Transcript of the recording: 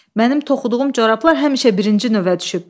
Mənim toxuduğum corablar həmişə birinci növə düşüb.